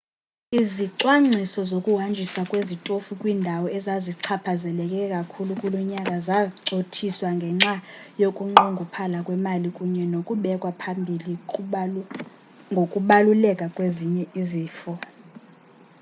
izicwangciso zokuhanjiswa kwezitofu kwiindawo ezazichaphazeleke kakhulu kulo nyaka zacothiswa ngenxa yokunqongophala kwemali kunye nokubekwa phambili ngokubaluleka kwezinye izifo